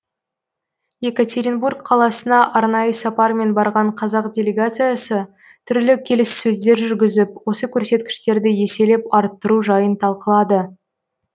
екатеринбург қаласына арнайы сапармен барған қазақ делегациясы түрлі келіссөздер жүргізіп осы көрсеткіштерді еселеп арттыру жайын талқылады